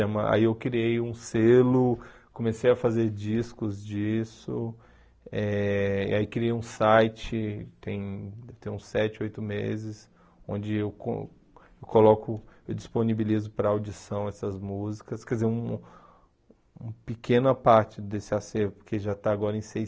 Tem uma aí eu criei um selo, comecei a fazer discos disso, eh aí criei um site, tem tem uns sete, oito meses, onde eu co coloco eu disponibilizo para audição essas músicas, quer dizer, uma pequena parte desse acervo, que já está agora em